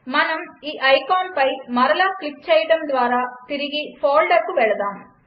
మనం ఈ ఐకాన్పై మరలా క్లిక్ చేయడం ద్వారా తిరిగి ఫోల్డర్కు వెళదాం